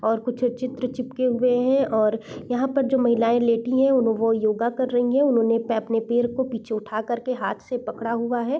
और कुछ चित्र चिपके हुए है और यहाँ पर जो महिलाएं लेटी है वो योगा कर रही है उन्होंने अपने पैर को पीछे उठा कर के हाथ से पकड़ा हुआ है।